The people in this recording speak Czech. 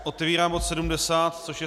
Otevírám bod 70, což je